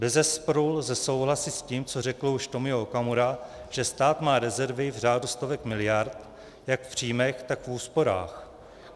Bezesporu lze souhlasit s tím, co řekl už Tomio Okamura, že stát má rezervy v řádu stovek miliard jak v příjmech, tak v úsporách.